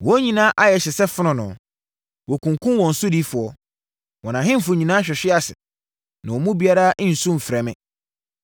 Wɔn nyinaa ayɛ hye sɛ fononoo. Wɔkunkumm wɔn sodifoɔ. Wɔn ahemfo nyinaa hwehwe ase na wɔn mu biara nnsu mfrɛ me.